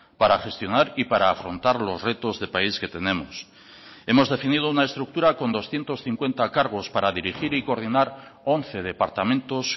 para gestionar y para afrontar los retos de país que tenemos hemos definido una estructura con doscientos cincuenta cargos para dirigir y coordinar once departamentos